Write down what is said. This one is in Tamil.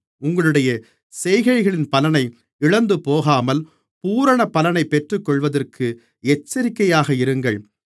உங்களுடைய செய்கைகளின் பலனை இழந்துபோகாமல் பூரண பலனைப் பெற்றுக்கொள்வதற்கு எச்சரிக்கையாக இருங்கள்